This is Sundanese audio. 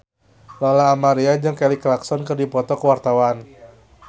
Lola Amaria jeung Kelly Clarkson keur dipoto ku wartawan